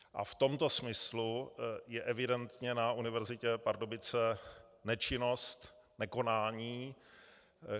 A v tomto smyslu je evidentně na Univerzitě Pardubice nečinnost, nekonání.